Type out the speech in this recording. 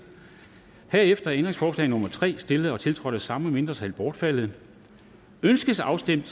herefter er ændringsforslag nummer tre stillet og tiltrådt af de samme mindretal bortfaldet ønskes afstemning